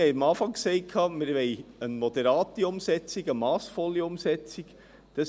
Wir haben am Anfang gesagt, dass wir eine moderate Umsetzung, eine massvolle Umsetzung wollen.